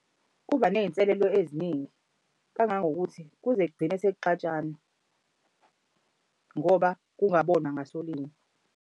Kuba ney'nselelo eziningi kangangokuthi kuze kugcine sekuxatshanwa ngoba kungabonwa ngasolinye.